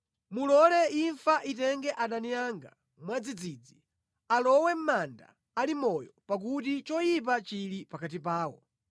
Mulole imfa itenge adani anga mwadzidzidzi; alowe mʼmanda ali amoyo pakuti choyipa chili pakati pawo.